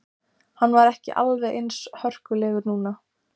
Hann var ekki alveg eins hörkulegur núna.